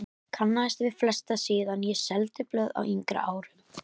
Kannaðist við flesta síðan ég seldi blöð á yngri árum.